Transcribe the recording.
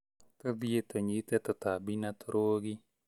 Tũthiĩ tũnyite tũtabi na tũrũgi